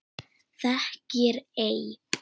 Þekkir ei?